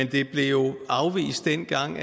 det blev dengang